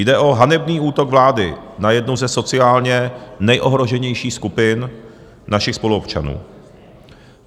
Jde o hanebný útok vlády na jednu ze sociálně nejohroženějších skupin našich spoluobčanů.